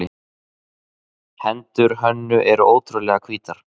Hendur Hönnu eru ótrúlega hvítar.